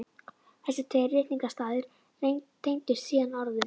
Þessir tveir ritningarstaðir tengdust síðan orðum